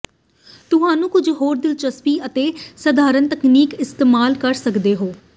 ਤੁਹਾਨੂੰ ਕੁਝ ਹੋਰ ਦਿਲਚਸਪ ਅਤੇ ਸਧਾਰਨ ਤਕਨੀਕ ਇਸਤੇਮਾਲ ਕਰ ਸਕਦੇ ਹੋ